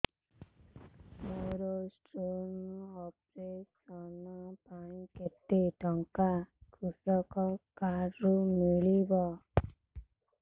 ମୋର stone operation ପାଇଁ କେତେ ଟଙ୍କା କୃଷକ କାର୍ଡ ରୁ ମିଳିବ